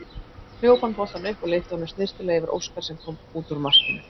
Hljóp hann boltann upp og lyfti honum snyrtilega yfir Óskar sem kom út úr markinu.